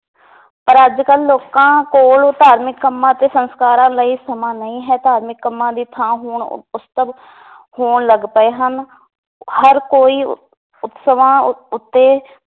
ਪਰ ਅੱਜ ਕਲ ਲੋਕਾਂ ਕੋਲ ਧਾਰਮਿਕ ਕੰਮਾਂ ਅਤੇ ਸੰਸਕਾਰਾਂ ਲਈ ਸਮਾਂ ਨਈ ਹੈ ਧਾਰਮਿਕ ਕੰਮਾਂ ਦੀ ਥਾਂ ਹੁਣ ਹੋਣ ਲੱਗ ਪਏ ਹਨ ਹਰ ਕੋਈ ਉਤਸਵਾਂ ਉ ਉੱਤੇ